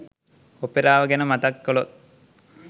ඔපෙරාව ගැන මතක් කළොත්?